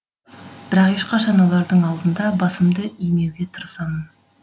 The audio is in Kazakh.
бірақ ешқашан олардың алдында басымды имеуге тырысамын